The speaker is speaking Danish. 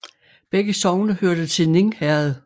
Begge sogne hørte til Ning Herred